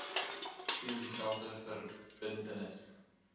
sien dieselfde verbintenis